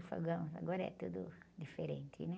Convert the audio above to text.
E fogão, agora é tudo diferente, né?